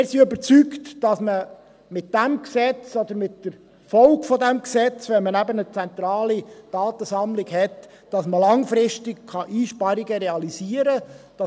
Wir sind überzeugt, dass man mit diesem Gesetz oder mit der Folge dieses Gesetzes – wenn man eben eine zentrale Datensammlung hat – langfristig Einsparungen realisieren kann.